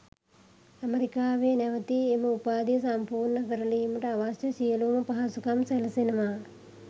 ඇමරිකාවේ නැවතී එම උපාධිය සම්පූර්ණ කරලීමට අවශ්‍ය සියළුම පහසුකම් සැලසෙනවා.